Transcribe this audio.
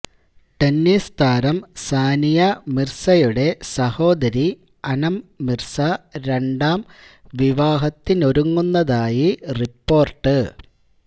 tennis താരം സാനിയ മിർസയുടെ സഹോദരി അനം മിർസ രണ്ടാം വിവാഹത്തിനൊരുങ്ങുന്നതായി റിപ്പോര്ട്ട്